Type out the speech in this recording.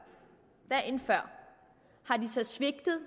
dagen før svigtede